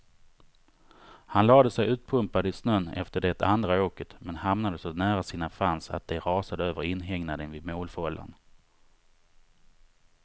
Han lade sig utpumpad i snön efter det andra åket, men hamnade så nära sina fans att de rasade över inhägnaden vid målfållan.